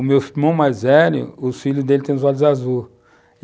O meu irmão mais velho, os filhos dele têm os olhos azuis.